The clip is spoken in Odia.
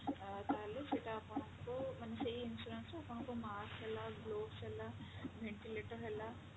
ଅ ତାହେଲେ ସେଟା ଆପଣଙ୍କୁ ମାନେ ସେଇ insurance ରୁ ଆପଣଙ୍କୁ mask ହେଲା globes ହେଲା ventilator ହେଲା